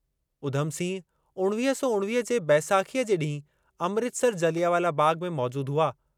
उधम सिंह उणवीह सौ उणवीह जे बैसाखीअ जे ॾींहुं अमृतसर जलियावालां बाग़ में मौजूदु हुआ।